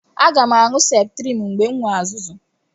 Aga m aṅụ septriim mgbe m nwee azụzụ̀.